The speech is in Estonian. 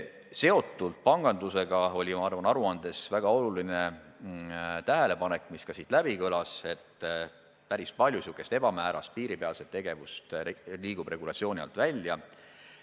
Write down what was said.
Seotult pangandusega oli aruandes väga oluline tähelepanek, et päris palju säärast ebamäärast piiripealset tegevust liigub regulatsiooni alt välja.